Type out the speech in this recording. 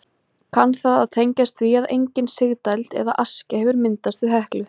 Kann það að tengjast því að engin sigdæld eða askja hefur myndast við Heklu.